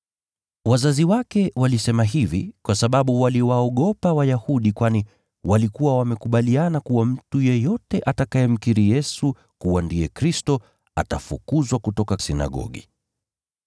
Wazazi wake walisema hivi kwa sababu waliwaogopa Wayahudi kwani walikuwa wamekubaliana kuwa mtu yeyote atakayemkiri Yesu kuwa ndiye Kristo atafukuzwa kutoka sinagogi.